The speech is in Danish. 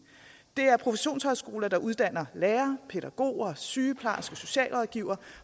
det er professionshøjskoler der uddanner lærere pædagoger sygeplejersker socialrådgivere